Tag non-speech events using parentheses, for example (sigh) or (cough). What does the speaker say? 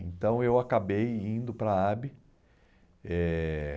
Então, eu acabei indo para a. (unintelligible) Eh